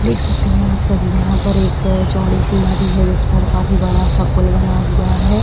देख सकते हैं आप सभी यहाँ पर एक चौड़ी सी नदी है जिस पर काफी बड़ा सा पूल बना हुआ है।